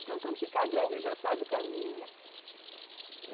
Então, quando ficar grande, ele já sabe o caminho, né?